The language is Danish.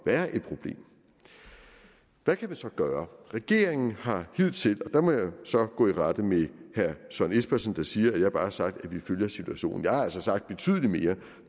være et problem hvad kan man så gøre regeringen har hidtil og der må jeg så gå i rette med herre søren espersen der siger at jeg bare har sagt at vi følger situationen for jeg har altså sagt betydelig mere